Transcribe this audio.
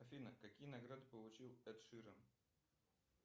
афина какие награды получил эд ширан